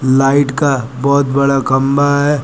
Light का बहोत बड़ा खंबा है।